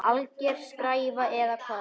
Alger skræfa eða hvað?